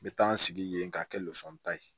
N bɛ taa n sigi yen k'a kɛ losɔn ta ye